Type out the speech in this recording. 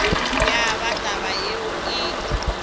ya ba taba yeo e